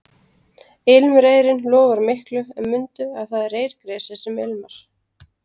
Ilmreyrinn lofar miklu en mundu að það er reyrgresið sem ilmar